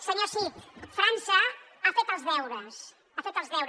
senyor cid frança ha fet els deures ha fet els deures